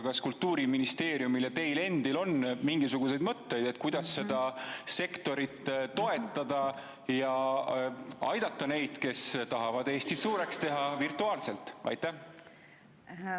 Kas Kultuuriministeeriumil ja teil endal on mingisuguseid mõtteid, kuidas seda sektorit toetada ja aidata neid, kes tahavad Eestit virtuaalselt suureks teha?